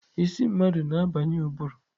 Isi mmadụ na-abanye ụbụrụ.